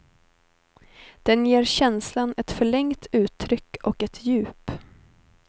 Den ger känslan ett förlängt uttryck och ett djup.